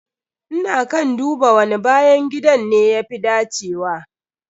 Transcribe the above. Ina kan duba wani bayan gidan ne ya fi dacewa.